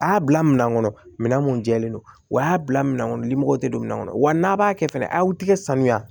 A y'a bila minɛn kɔnɔ minɛn mun jɛlen don u y'a bila minɛn kɔnɔ limɔgɔw tɛ don min kɔnɔ wa n'a b'a kɛ fɛnɛ a y'aw tigɛ sanuya